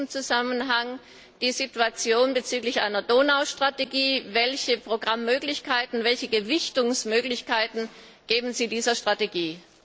In diesem Zusammenhang die Situation bezüglich einer Donau Strategie Welche Programmmöglichkeiten, welche Gewichtungsmöglichkeiten geben Sie dieser Strategie?